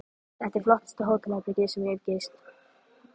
Þetta er flottasta hótelherbergi sem ég hef gist.